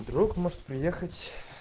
друг может приехать